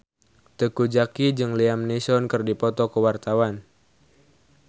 Teuku Zacky jeung Liam Neeson keur dipoto ku wartawan